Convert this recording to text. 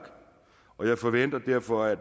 og jeg forventer derfor at